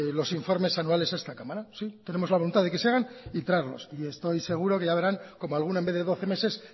los informes anuales a esta cámara sí tenemos la voluntad de que se hagan y traerlos y estoy seguro que ya verán como alguno en vez de doce meses